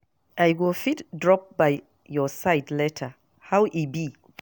I go fit drop by your side later, how e be?